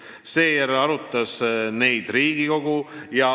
Seejärel arutas neid Riigikogu.